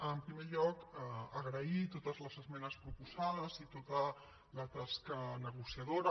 en primer lloc agrair totes les esmenes proposades i tota la tasca negociadora